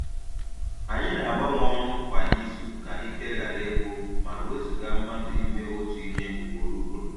Anyị na-agbanwe ọrụ kwa izu ka ike ghara ịgwụ ma wezuga mmadụ ime otu ihe ugboro ugboro